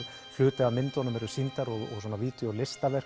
hluti af myndunum eru sýndar og